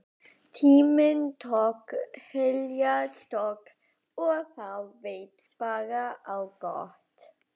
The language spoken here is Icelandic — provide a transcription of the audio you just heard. Tíminn tók heljarstökk og það veit bara á gott.